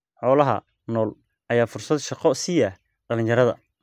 Xoolaha nool ayaa fursad shaqo siiya dhalinyarada.